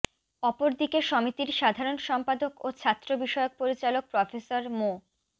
অপরদিকে সমিতির সাধারণ সম্পাদক ও ছাত্র বিষয়ক পরিচালক প্রফেসর মো